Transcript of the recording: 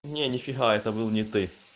нет нифига это был не ты